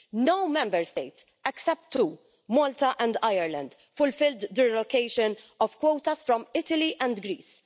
No Member State except two, Malta and Ireland fulfilled their allocation of quotas from Italy and Greece.